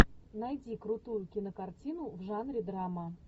найди крутую кинокартину в жанре драма